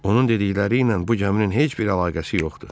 Onun dedikləriylə bu gəminin heç bir əlaqəsi yoxdur.